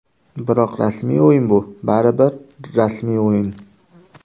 Biroq rasmiy o‘yin bu, baribir, rasmiy o‘yin.